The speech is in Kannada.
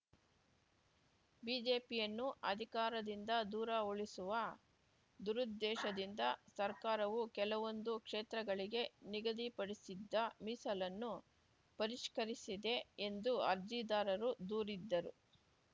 ಬಿಜೆಪಿಯನ್ನು ಅಧಿಕಾರದಿಂದ ದೂರ ಉಳಿಸುವ ದುರುದ್ದೇಶದಿಂದ ಸರ್ಕಾರವು ಕೆಲವೊಂದು ಕ್ಷೇತ್ರಗಳಿಗೆ ನಿಗದಿಪಡಿಸಿದ್ದ ಮೀಸಲನ್ನು ಪರಿಷ್ಕರಿಸಿದೆ ಎಂದು ಅರ್ಜಿದಾರರು ದೂರಿದ್ದರು